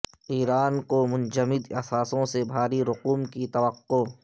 ایران کو منجمد اثاثوں سے بھاری رقوم کی توقع